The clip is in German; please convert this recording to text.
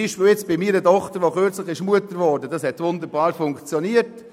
Bei meiner Tochter, die kürzlich Mutter geworden ist, hat es wunderbar funktioniert.